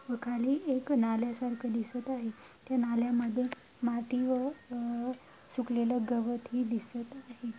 व खाली एक नाल्या सारख दिसत आहे. त्या नाल्यामध्ये माती व सुखलेला गावात ही दिसत आहे.